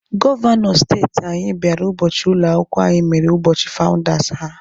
Gọvanọ steeti anyị bịara ụbọchị ụlọ akwụkwọ anyị mere ụbọchị fawụndas ha.